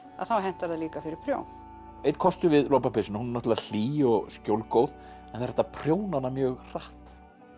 að þá hentar það líka fyrir prjón einn kostur við lopapeysuna hún er náttúrulega hlý og skjólgóð en það er hægt að prjóna hana mjög hratt